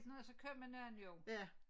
Når der så kommer nogen jo